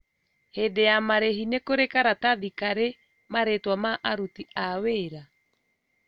Hĩndi ya marĩhi nĩ kũrĩ karatathi karĩ marĩtwa ma aruti a wrap